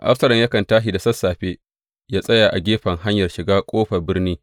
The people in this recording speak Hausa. Absalom yakan tashi da sassafe yă tsaya a gefen hanyar shigar ƙofar birni.